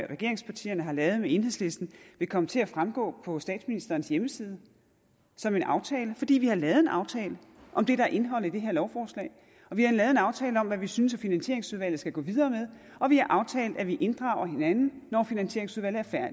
regeringspartierne har lavet med enhedslisten ville komme til at fremgå på statsministerens hjemmeside som en aftale fordi vi har lavet en aftale om det der er indholdet i det her lovforslag og vi har lavet en aftale om hvad vi synes at finansieringsudvalget skal gå videre med og vi har aftalt at vi inddrager hinanden når finansieringsudvalget er